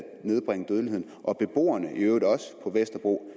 nedbringe dødeligheden og at beboerne på vesterbro i